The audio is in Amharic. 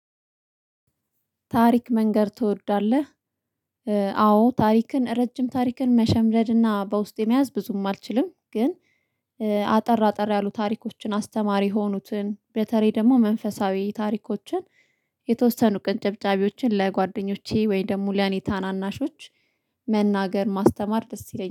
ታሪክ መንገር ትወዳለህ? አዎ ታሪክን ረጅም ታሪክን መሸምደድና በውስጤ መያዝ ብዙም አልችልም ግን አጠር አጠር ያሉ ታሪኮችን አስተማሪ የሆኑትን በተለይ ደግሞ መንፈሳዊ ታሪኮችን የተወሰኑ ቅንጭብጫቢዎችን ለጓደኞቼ ወይ ደግሞ ለኔ ታናናሾች መናገር ማስተማር ደስ ይለኛል